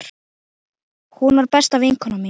Hún var besta vinkona mín.